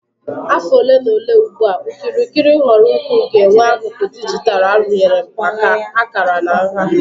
afọ ole na ole ugbu a, okirikiri okirikiri nhọrọ ukwuu ga-enwe akụkụ dijitalụ arụnyere maka akara na nha.